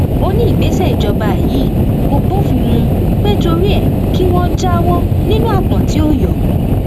ó ní ìgbésẹ ìjọba yìí kò bófin mu péẹ torí ẹ kí wọn jáwọ nínú aápọn tí ó yọ